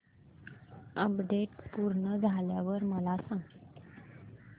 update पूर्ण झाल्यावर मला सांग